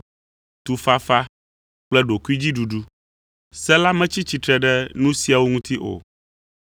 tufafa kple ɖokuidziɖuɖu. Se la metsi tsitre ɖe nu siawo ŋuti o.